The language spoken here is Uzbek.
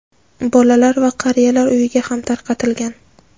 bolalar va qariyalar uyiga ham tarqatilgan.